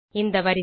இந்த வரிசை